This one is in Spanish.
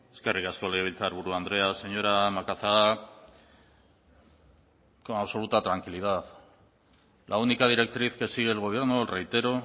eskerrik asko legebiltzarburu andrea señora macazaga con absoluta tranquilidad la única directriz que sigue el gobierno reitero